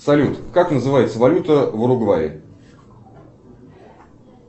салют как называется валюта в уругвае